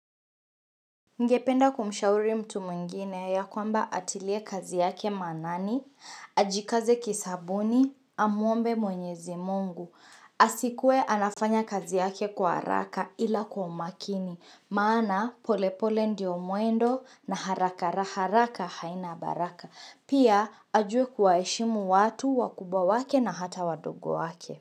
Ningependa kumshauri mtu mwingine ya kwamba atilie kazi yake maanani, ajikaze kisabuni, amuombe mwenyezi Mungu. Asikuwe anafanya kazi yake kwa haraka ila kwa umakini, maana polepole ndio mwendo na harakara haraka haina baraka. Pia ajue kuwaheshimu watu, wakubwa wake na hata wadogo wake.